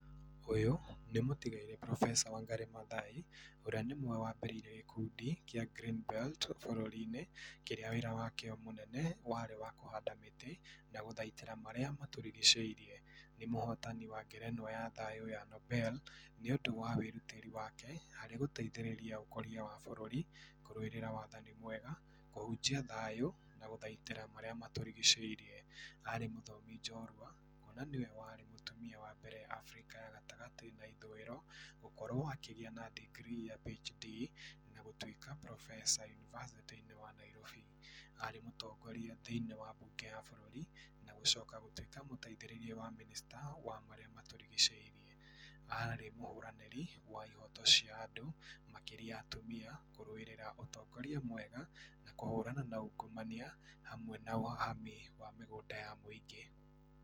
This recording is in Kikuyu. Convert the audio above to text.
Ũyũ nĩ mũtigairĩ profesa Wangari Mathai ũrĩa nĩ ũmwe wambĩrĩirie gĩkundi kĩa Green belt bũrũri-inĩ, kĩrĩa wĩra wakio mũnene warĩ wa kũhanda mĩtĩ na gũthaitĩra marĩa matũrigicĩirie. Nĩ mũhotani wa ngerenwa ya thayũ ya Nobel nĩũndũ wa wĩrutĩri wake harĩ gũteithĩrĩria ũkũria wa bũrũri, kũrũwĩrĩra wathani mwega, kũhunjia thayũ na gũthaitĩra marĩa matũrigicĩirie. Arĩ mũthomi njorua kwona nĩwe warĩ mũtumia wambere Africa ya gatagatĩ na ithũĩro gũkorwo akĩgĩa na degree ya PHD na gũtwĩka profesa universiti-inĩ wa Nairobi. Arĩ mũtongoria thĩinĩ wa bunge ya Nairobi na gũcoka gũtwĩka mũteithĩrĩria wa minista wa marĩa matũrigicĩirie. Arĩ mũhũranĩri wa ihoto cia andũ makĩria atumia, kũrũwĩrĩra ũtongoria mwega na kũhũrana na ũngũmania, hamwe na ũhahami wa mĩgũnda ya mũingĩ.